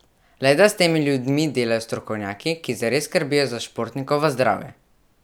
Le da s temi ljudmi delajo strokovnjaki, ki zares skrbijo za športnikovo zdravje.